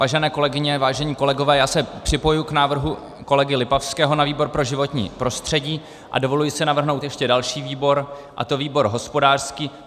Vážené kolegyně, vážení kolegové, já se připojuji k návrhu kolegy Lipavského na výbor pro životní prostředí a dovoluji si navrhnout ještě další výbor, a to výbor hospodářský.